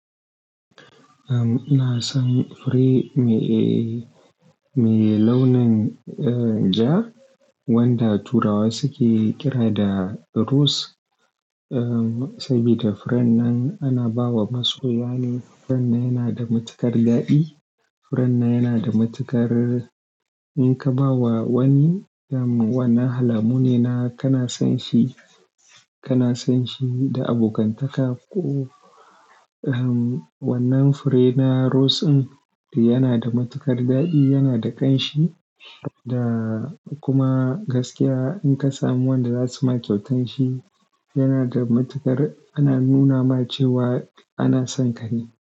Ina son fure me launin ja wanda turawa suke kira da rose. Saboda furen nan ana bawa masoya ne. Furen nan yana da matuƙar daɗi. Furen nan yana da matuƙar in ka ba wa wani, wannan alamu ne na kana son shi da abokantaka ko wannan fure na rose din yana da matuƙar daɗi, yana da ƙanshi da kuma gaskiya in ka samu wanda za su ma kyautan shi yana da matuƙar ana nuna ma cewa ana son kare.